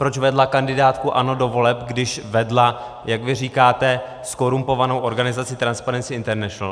Proč vedla kandidátku ANO do voleb, když vedla, jak vy říkáte, zkorumpovanou organizaci Transparency International?